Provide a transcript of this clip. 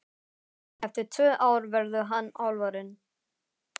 Eftir tvö ár verður hann alfarinn.